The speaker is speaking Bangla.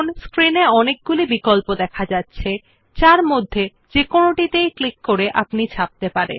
স্ক্রিন এ অনেকগুলি বিকল্প দেখা যাচ্ছে যার মধ্যে থেকে যেকোনোটিতে ক্লিক করে আপনি ছাপতে পারেন